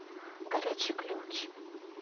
горячий ключ